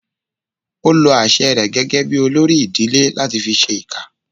Ó lo àṣẹ rẹ̀ gẹ́gẹ́ bí olórí ìdílé láti fi ṣẹ ìkà